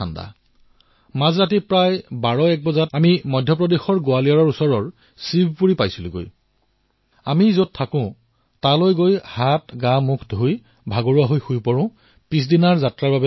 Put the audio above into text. আমি নিশা প্ৰায় ১২১টা বজাত মধ্য প্ৰদেশৰ গোৱালিয়ৰৰ ওচৰৰ শিৱপুৰী পালো নিৱাস স্থান পাই দিনটোৰ ভাগৰ আঁতৰাই ৰাতিপুৱাৰ বাবে প্ৰস্তুতি কৰি আছিলো